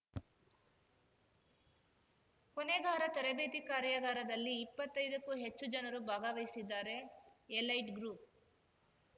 ಕೊನೆಗಾರ ತರಬೇತಿ ಕಾರ್ಯಾಗಾರದಲ್ಲಿ ಇಪ್ಪತ್ತೈದಕ್ಕೂ ಹೆಚ್ಚು ಜನರು ಭಾಗವಹಿಸಿದ್ದಾರೆ ಎಲೈಟ್‌ ಗ್ರೂಪ್‌